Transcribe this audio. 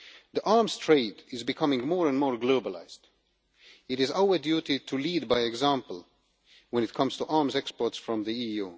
The arms trade is becoming more and more globalised. It is our duty to lead by example when it comes to arms exports from the EU.